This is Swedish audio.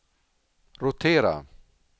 rotera